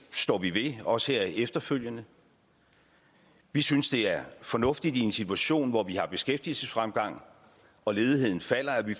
står vi også ved her efterfølgende vi synes det er fornuftigt i en situation hvor der er beskæftigelsesfremgang og ledigheden falder